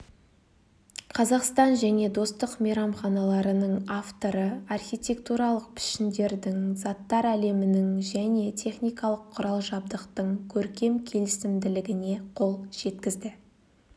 қазақстан және достық мейрамханаларының авторы архитектуралық пішіндердің заттар әлемінің және техникалық құрал-жабдықтың көркем келісімділігіне қол жеткізді